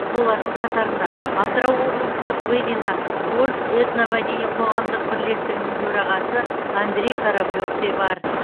солардың қатарында атырау облыстық былина орыс этномәдени қоғамдық бірлестігінің төрағасы андрей кораблев те бар